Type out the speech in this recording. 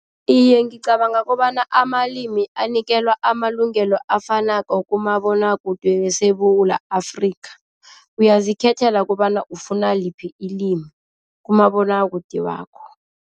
Iye, ngicabanga kobana amalimi anikelwa amalungelo afanako kumabonwakude weSewula Afrika, uyazikhethela kobana ufuna liphi ilimi kumabonwakude wakho.